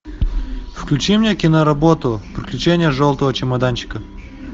включи мне киноработу приключения желтого чемоданчика